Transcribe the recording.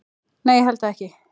Nei, ég held það ekki.